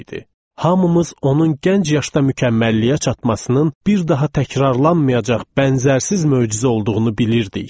Hamımız onun gənc yaşda mükəmməlliyə çatmasının bir daha təkrarlanmayacaq bənzərsiz möcüzə olduğunu bilirdik.